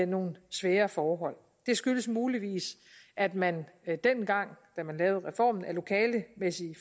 nogle svære forhold det skyldes muligvis at man dengang da man lavede reformen af lokalemæssige